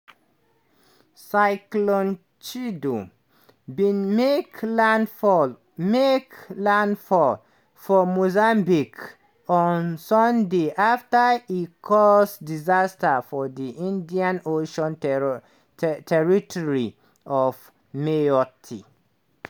cyclone chido bin make landfall make landfall for mozambique on sunday afta e cause disaster for di indian ocean territory of mayotte.